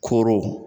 Koro